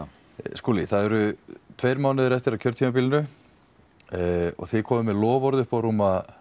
Skúli það eru tveir mánuðir eftir af kjörtímabilinu og þið komið með loforð uppá rúma